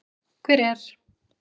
Hver er.